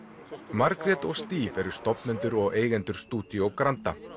Margrét og Steve eru stofnendur og eigendur stúdíó Granda